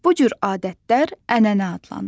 Bu cür adətlər ənənə adlanır.